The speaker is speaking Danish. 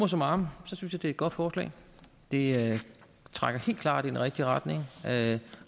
summarum jeg synes det er et godt forslag det trækker helt klart i den rigtige retning